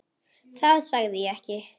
Það sagði ég ekki